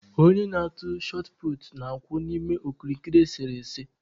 Onye na-atụ shọt puutu na-akwụ n'ime okirikiri esere ese.